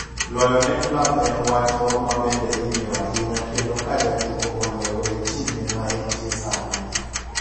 Loyo ne klabu en wach moro ma bende ing'iyo ahinya kendo ka ja tugo oloyo e timne maentie sani.